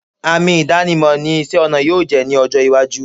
Àmì ìdánimọ̀ ni isẹ́-ọnà yóò jẹ́ ní ọjọ́-iwájú.